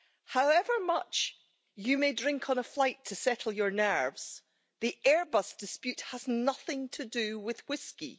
However much you may drink on a flight to settle your nerves, the Airbus dispute has nothing to do with whisky.